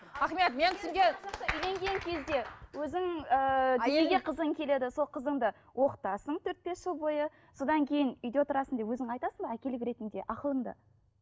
ахмет мен сізге үйленген кезде өзің ыыы дүниеге қызың келеді сол қызыңды оқытасың төрт бес жыл бойы содан кейін үйде отырасың деп өзің айтасың ба әкелік ретінде ақылыңды